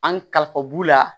An kalifa b'u la